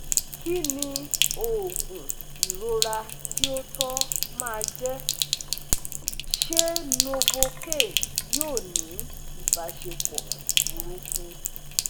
Kí ni òògùn ìrora tí ó tọ́ máa jẹ́? Ṣé Novocain yóò ní ìbáṣepọ̀ burúkú?